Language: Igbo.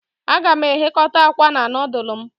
Aga m eghekota akwa na nudulu m